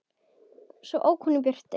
Svo ók hún í burtu.